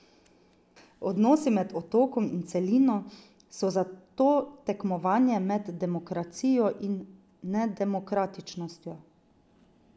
Odnosi med otokom in celino so zato tekmovanje med demokracijo in nedemokratičnostjo.